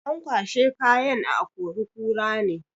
An kwashai kayan a akori-kura ne.